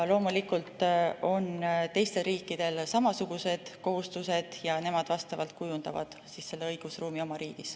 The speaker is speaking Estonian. Loomulikult on teistel riikidel samasugused kohustused ja nemad kujundavad õigusruumi oma riigis.